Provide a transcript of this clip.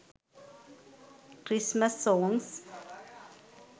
christmas songs